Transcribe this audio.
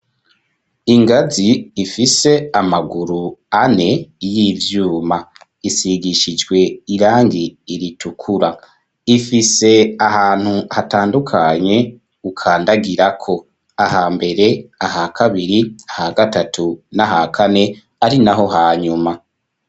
Ingazi ifise amaguru ane y'ivyuma, isigishijwe irangi ritukura, ifise ahantu hatandukanye ukandagirako, aha mbere, aha kabiri, aha gatatu n'aha kane ari naho hanyuma.